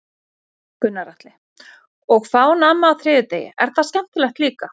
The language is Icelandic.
Gunnar Atli: Og fá nammi á þriðjudegi, er það skemmtilegt líka?